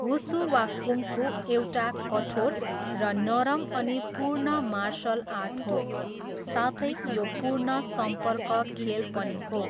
Wushu, वा kung fu, एउटा कठोर र नरम अनि पूर्ण मार्सल आर्ट हो, साथै यो पूर्ण सम्पर्क खेल पनि हो।